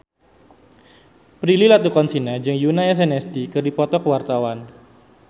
Prilly Latuconsina jeung Yoona SNSD keur dipoto ku wartawan